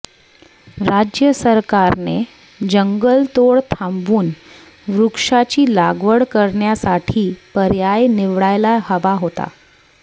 राज्य सरकारने जंगलतोड थांबवून वृक्षाची लागवड करण्यासाठी पर्याय निवडायला हवा होता